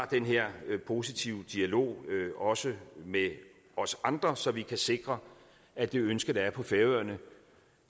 den her positive dialog også med os andre så vi kan sikre at det ønske der er på færøerne